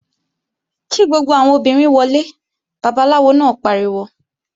Kí gbogbo àwọn obìnrin wọlé! Babaláwo náà pariwo!